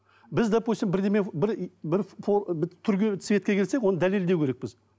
біз допустим бірдеме түрге цветке келсек оны дәлелдеу керекпіз